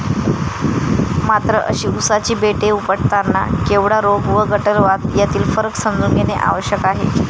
मात्र अशी ऊसाची बेटे उपटताना केवडा रोग व गटलवाध यातील फरक समजून घेणे आवश्यक आहे.